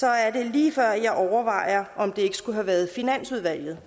er det lige før jeg overvejer om det ikke skulle have været finansudvalget